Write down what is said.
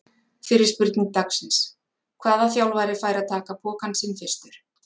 Fyrri spurning dagsins: Hvaða þjálfari fær að taka pokann sinn fyrstur?